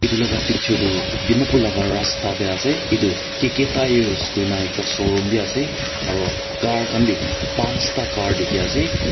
tulaga picture Tu dimapur laga rasta tey ase itu K_K tires kuina ekta sowroom bi ase aro car khan bi pansta car dikhi ase.